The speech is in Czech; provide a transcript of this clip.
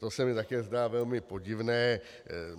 To se mi také zdá velmi podivné.